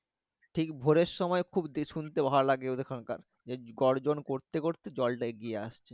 ঠিক ভোরের সময় খুব শুনতে ভালো লাগে ওদের ওখানকার গর্জন করতে করতে জল টা আগাইয়ে আসছে